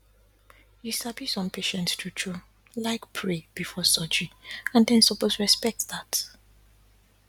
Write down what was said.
you sabi some patients true true like pray before surgery and dem suppose respect dat